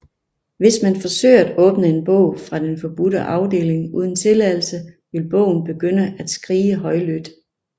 Hvis man forsøger at åbne en bog fra Den Forbudte Afdeling uden tilladelse vil bogen begynde at skrige højlydt